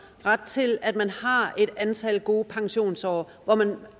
ret til at man har et antal gode pensionsår hvor man